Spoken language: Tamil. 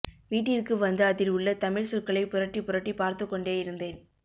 வீட்டிற்கு வந்து அதில் உள்ள தமிழ் சொற்களை புரட்டி புரட்டி பார்த்துக் கொண்டேயிருந்தேன்